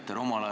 Aitäh!